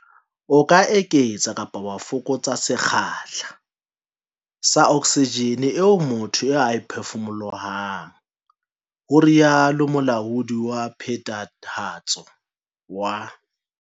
"O ka eketsa kapa wa fokotsa sekgahla sa oksijene eo motho a e phefumolohang," ho rialo Molaodi wa Phethahatso wa.